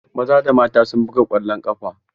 Maza da mata sun buga ƙwallon ƙafa.